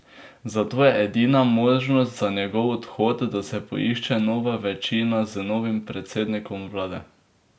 Zato je edina možnost za njegov odhod, da se poišče nova večina z novim predsednikom vlade.